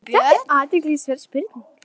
Þetta er athyglisverð spurning.